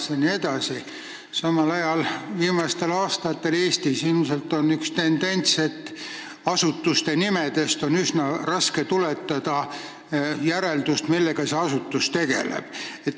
Tahan ka märkida, et viimastel aastatel on Eestis ilmnenud tendents, et asutusenimedest on üsna raske järeldada, millega konkreetne asutus tegeleb.